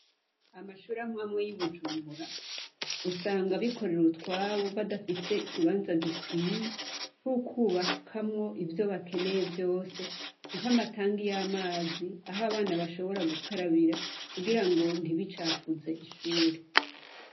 Amashure amwe amwe yi Bujumbura, usanga abikorera utwabo badafise ikibanza gikwiye , c'ukwubakamwo ivyo bakeneye vyose ,nk'amatangi y'amazi, aho abana bashobora gukabira kugira ntibicafuze ishure.